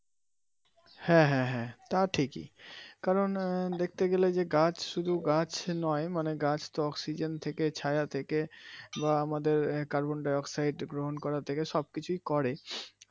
হ্যাঁ হ্যাঁ হ্যাঁ তা ঠিকই কারন দেখতে গেলে যে গাছ শুধু গাছ নয় মানে গাছ তো oxygen থেকে ছায়া থেকে বা আমাদের কার্বন ডাই অক্সাইড গ্রহন করা থেকে সব কিছুই করে,